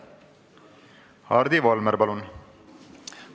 Hardi Volmer, palun!